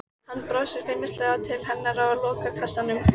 Hann brosir feimnislega til hennar og lokar kassanum.